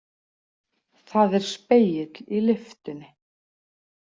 Það er spegill í lyftunni.